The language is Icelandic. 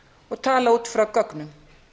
og tala út frá gögnum